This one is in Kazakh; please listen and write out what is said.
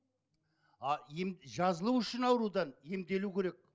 а ем жазылу үшін аурудан емделу керек